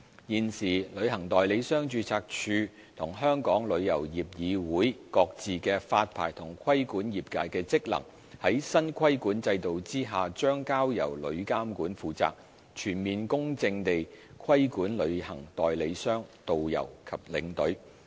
現時旅行代理商註冊處和香港旅遊業議會各自的發牌和規管業界的職能，將在新規管制度下交由旅監局負責，全面公正地規管旅行代理商、導遊和領隊。